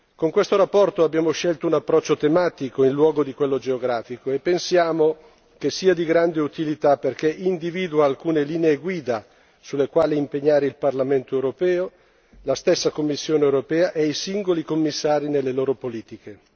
Con questa relazione abbiamo scelto un approccio tematico in luogo di quello geografico e pensiamo che sia di grande utilità, perché individua alcune linee guida sulle quali impegnare il Parlamento europeo, la stessa Commissione europea e i singoli Commissari nelle loro politiche.